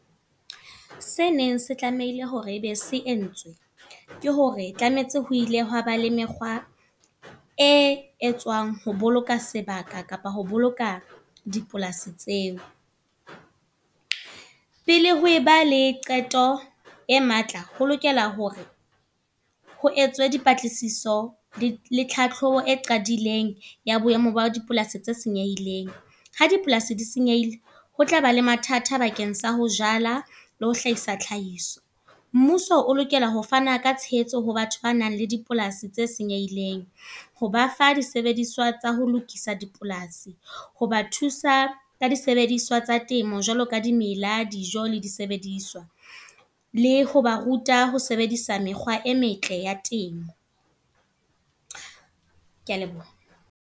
Se neng se tlameile hore ebe se entswe. Ke hore tlametse ho ile hwaba le mekgwa, e etswang ho boloka sebaka kapa ho boloka dipolasi tseo. Pele ho eba le qeto e matla, ho lokela hore ho etswe dipatlisiso le hlahlobo e qadileng ya boemo bo dipolasi tse senyehileng. Ha dipolasi di senyehile, ho tlaba le mathata bakeng sa ho jala le ho hlahisa tlhahiso. Mmuso o lokela ho fana ka tshehetso ho batho ba nang le dipolasi tse senyehileng. Ho ba fa disebediswa tsa ho lokisa dipolasi. Ho ba thusa ka disebediswa tsa temo jwaloka dimela, dijo le disebediswa. Le ho ba ruta ho sebedisa mekgwa e metle ya temo. Ke a leboha.